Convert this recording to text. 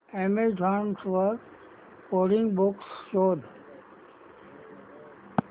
Amazon वर coding books शोधा